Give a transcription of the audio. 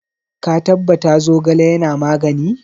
Ka tabbata Zogale yana magani?